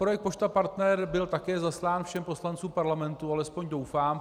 Projekt Pošta Partner byl také zaslán všem poslancům Parlamentu, alespoň doufám.